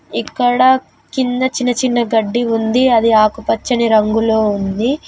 ఇక్కడ కింద చిన్న చిన్న గడ్డి ఉంది. అది ఆకుపచ్చని రంగులో ఉంది.